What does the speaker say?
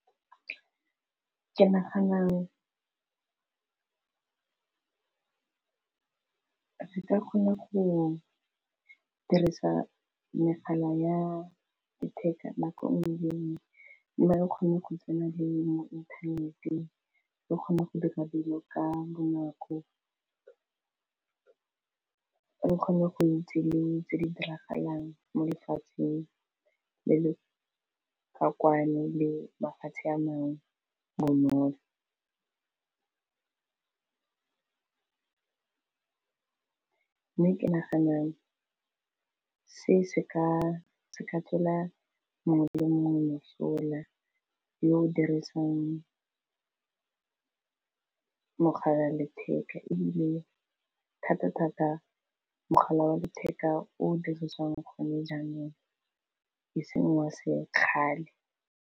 Ke nagana ke ka kgone go dirisa megala ya letheka nako ngwe le ngwe mme o kgone go tsena le mo inthaneteng re kgona go dira dilo ka bonako re kgone goitsi tse di diragalang mo lefatsheng le le ka kwano le mafatshe a mangwe bonolo mme ke nagana se seka ka tswela mongwe le mongwe mosola yo dirisang mogala wa letheka ebile thata-thata mogala wa letheka o dirisiwang gone jaanong e seng wa se kgale.